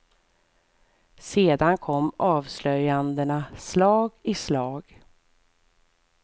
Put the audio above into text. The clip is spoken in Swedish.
Sedan kom avslöjandena slag i slag.